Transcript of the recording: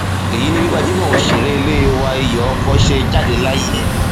èyí ni bí gbajúmọ òṣèré ilé wa iyọ ọkọ ṣe jáde láyé